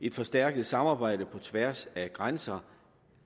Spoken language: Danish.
et forstærket samarbejde på tværs af grænser